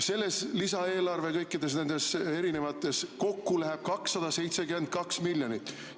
Selles lisaeelarve ja kõikides nendes kokku läheb 272 miljonit.